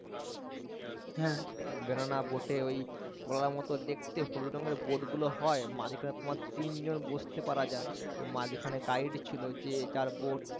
banana boat এ ওই কলার মত দেখতে হলুদ রঙের boat গুলো হয় মাঝখানে তোমার তিনজন বসতে পারা যায় তো মাঝখানে guide ছিল যে যার boat